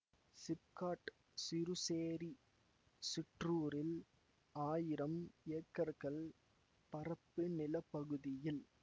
சிப்காட் சிறுசேரி சிற்றூரில் ஆயிரம் ஏக்கர்கள் பரப்பு நில பகுதியில்